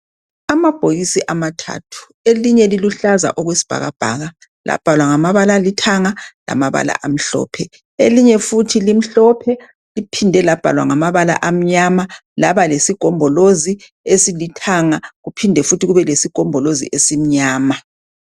Amabhokisi amathathu elinye liluhlaza okwesi bhakabhaka. Labhalwa ngamabala alithanga lamabala amhlophe. Elinye futhi limhlophe liphinde labhalwa amnyama laba lesigombolozi esilithanga kuphinde futhi kube lesigombolozi esimnyama.